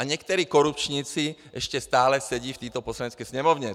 A někteří korupčníci ještě stále sedí v této Poslanecké sněmovně.